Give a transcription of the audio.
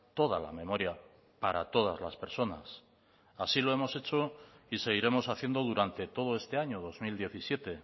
toda la memoria para todas las personas así lo hemos hecho y seguiremos haciendo durante todo este año dos mil diecisiete